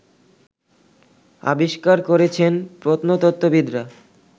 আবিষ্কার করেছেন প্রত্নতত্ত্ববিদরা